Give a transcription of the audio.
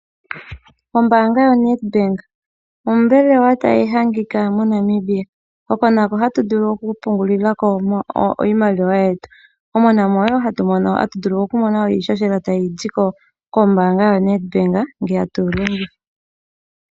Ombaanga yaNedbank ombelewa tayi adhika moNamibia hono nako hatuvulu okupungulilako iimaliwa yetu. Mono wo hatumono iihohela tayizi kombaanga yaNedbank ngele tatu longitha.